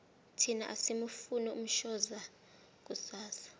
thina asimufuni umshoza kusasa